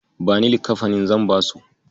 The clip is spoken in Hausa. Bani likkafanin, zan basu.